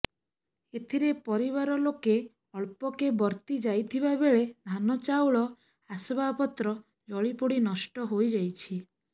ଏଥିରେ ପରିବାର ଲୋକେ ଅଳ୍ପକେ ବର୍ତ୍ତି ଯାଇଥିବା ବେଳେ ଧାନ ଚାଉଳ ଆସବାବପତ୍ର ଜଳିପୋଡି ନଷ୍ଟ ହୋଇଯାଇଛି